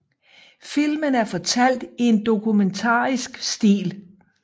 Filmen er fortalt i en dokumentarisk stil